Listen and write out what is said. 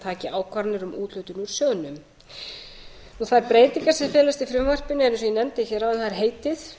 taki ákvarðanir um úthlutun úr sjóðnum þær breytingar sem felast í frumvarpinu eru því heitið